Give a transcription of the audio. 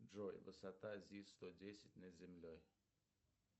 джой высота зис сто десять над землей